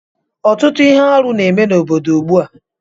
Ọtụtụ ihe arụ na-eme n'obodo ugbu a